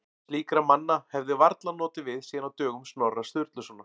Slíkra manna hefði varla notið við síðan á dögum Snorra Sturlusonar.